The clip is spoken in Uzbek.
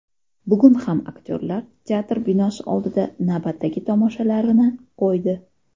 Bugun ham aktyorlar teatr binosi oldida navbatdagi tomoshalarini qo‘ydi.